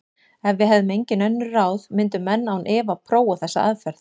Ef við hefðum engin önnur ráð myndu menn án efa prófa þessa aðferð.